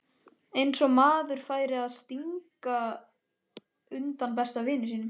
Eins og maður færi að stinga undan besta vini sínum!